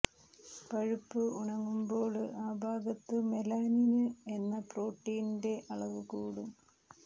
പഴുപ്പ് ഉണങ്ങുമ്പോള് ആ ഭാഗത്ത് മെലാനിന് എന്ന പ്രോട്ടീനിന്റെ അളവ് കൂടും